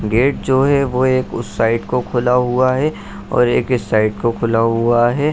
Gate जो है वो एक उस साइड को खुला हुआ है और एक इस साइड को खुला हुआ है।